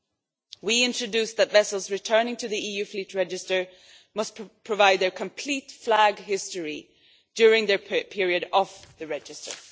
We introduced the requirement that vessels returning to the EU fleet register must provide their complete flag history during their period off the register.